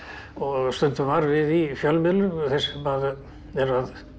stundum var við í fjölmiðlum þeir sem eru